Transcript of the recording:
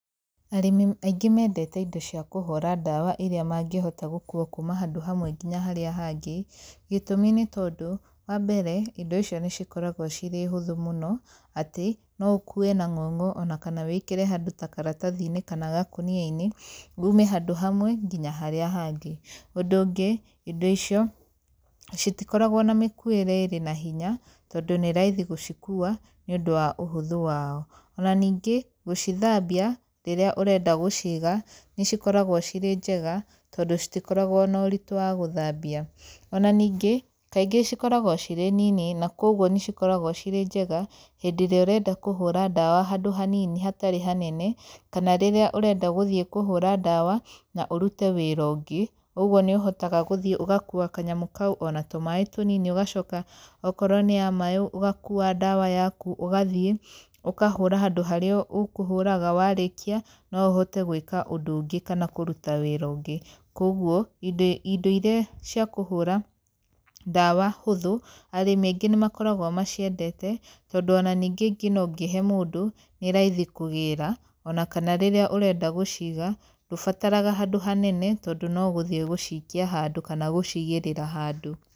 Arĩmi aingĩ mendete indo cia kũhũra ndawa irĩa mangĩhota gũkũa kũma handũ hamwe nginya harĩa hangĩ. Gĩtũmi nĩ tondũ wa mbere indo icio nĩ cikoragwo cirĩhũthũ mũno atĩ no ũkũwe na ng'ong'o kana wĩkĩre handũ ta karatathi-inĩ kana gakũnia-inĩ, ume handũ hamwe nginya harĩa hangĩ. Ũndũ ũngĩ indo icio citikoragwo na mĩkuĩre ĩrĩ na hinya tondũ nĩ raithi gũcikua nĩ ũndũ wa ũhũthũ wao. Ona ningĩ, gũcithambia rĩrĩa ũrenda gũciga nĩcikoragwo cirĩ njega tondũ citikoragwo na ũritũ wa gũthambia. Ona ningĩ kaingĩ cikoragwo cirĩ nini na kogwo nĩcikoragwo cirĩ njega hĩndĩ ĩrĩa ũrenda kũhũra ndawa handũ hanini hatarĩ hanene kana rĩrĩa ũrenda gũthiĩ kũhũra ndawa na ũrute wĩra ũngĩ, ũguo nĩ ũhotaga gũthiĩ ũgakua kanyamũ kau ona tũ maaĩ tũnini ũgacoka okorwo nĩ ya maaĩ ũgakua ndawa yaku ũgathiĩ ũkahũra handũ harĩa ũkũhũraga, warĩkia no ũhote gwĩka ũndũ ũngĩ kana kũrũta wĩra ũngĩ koguo, indo irĩa cia kũhũra ndawa hũthũ arĩmi angĩ nĩmakoragwo maciendete tondũ o na ningĩ o na ũngĩhe mũndũ nĩ raithi kũgĩra, ona kana rĩrĩa ũrenda gũciga ndũbataraga handũ hanene tondũ no gũthiĩ gũcikia handũ kana gũcigĩrĩra handũ.